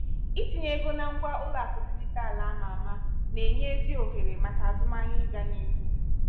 itinye ego na ngwa ụlọakụ dijitalụ ama ama na-enye ezi ohere maka azụmahịa ịgaa n'ihu.